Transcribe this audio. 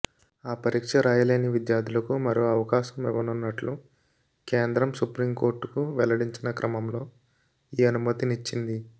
ఆ పరీక్ష రాయలేని విద్యార్థులకు మరో అవకాశం ఇవ్వనున్నట్లు కేంద్రం సుప్రీం కోర్టుకు వెల్లడించిన క్రమంలో ఈ అనుమతినిచ్చింది